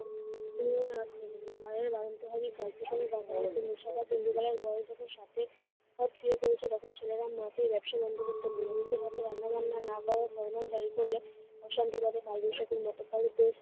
ইন্দুবালার হাত ইন্দুবালার বয়স যখন সাতে, তখন ছেলেরা মাকে এই ব্যবসা বন্ধ করতে বলল। নিজের হাতে রান্নাবান্না না করার ফরমান জারি করলে অশান্তি বাধে কালবৈশাখীর মতো। তাহলে বেশ